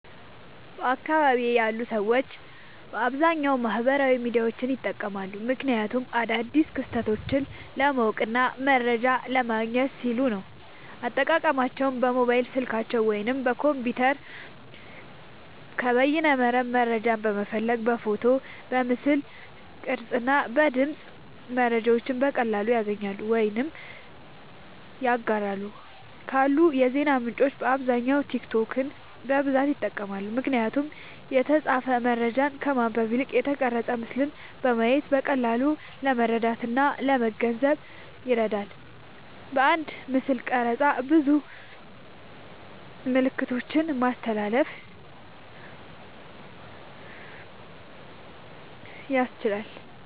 በአካባቢየ ያሉ ሰዎች በአብዛኛዉ ማህበራዊ ሚዲያዎችን ይጠቀማሉ። ምክንያቱም አዳዲስ ክስተቶችን ለማወቅና መረጃ ለማግኘት ሲሉ ነዉ። አጠቃቀማቸዉም በሞባይል ስልካቸዉ ወይም በኮምፒዉተር ከበይነመረብ መረጃን በመፈለግ በፎቶ፣ በምስል ቅርጽ እና በድምጽ መረጃዎችን በቀላሉ ያገኛሉ ወይም ያጋራሉ። ካሉ የዜና ምንጮች በአብዛኛዉ ቲክቶክን በብዛት ይጠቀማሉ። ምክንያቱም የተጻፈ መረጃን ከማንበብ ይልቅ የተቀረጸ ምስልን በማየት በቀላሉ ለመረዳትእና ለመገንዘብ ይረዳል። በአንድ ምስልቅርጽ ብዙ መልክቶችን ማስተላለፍ ያስችላል።